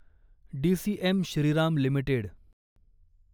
DCM Shriram limited